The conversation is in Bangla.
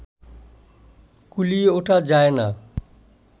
কুলিয়ে ওঠা যায় না